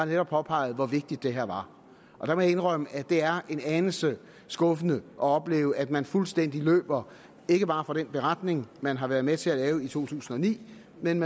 netop påpegede hvor vigtigt det her var jeg må indrømme at det er en anelse skuffende at opleve at man fuldstændig løber ikke bare fra den beretning man har været med til at lave et to tusind og ni men